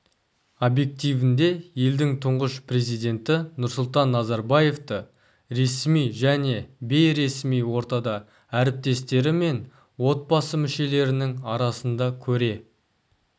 объективінде елдің тұңғыш президенті нұрсұлтан назарбаевты ресми және бейресми ортада әріптестері мен отбасы мүшелерінің арасында көре